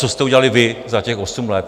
Co jste udělali vy za těch osm let?